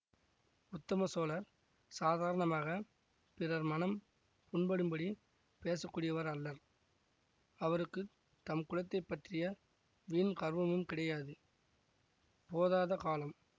உத்தம சோழர் சாதாரணமாகப் பிறர் மனம் புண் படும் படி பேசக்கூடியவர் அல்லர் அவருக்கு தம் குலத்தைப் பற்றிய வீண் கர்வமும் கிடையாது போதாத காலம்